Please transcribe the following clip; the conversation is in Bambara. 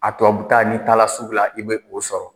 A tubabu ta, n'i taara sugu la, i bɛ o sɔrɔ.